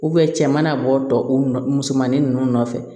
cɛ mana bɔ tɔ u nɔ musomanin ninnu nɔfɛ